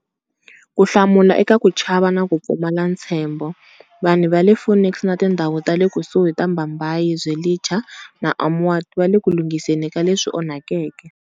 Ku hlamula eka ku chava na ku pfumala ntshembo, vanhu va le Phoenix na tindhawu ta le kusuhi ta Bhambayi, Zwelitsha na Amaoti vale ku lunghiseni ka leswi onhakeke.